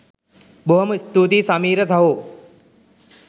බොහොම ස්තූතියි සමීර සහෝ